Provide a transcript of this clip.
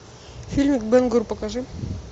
фильм бен гур покажи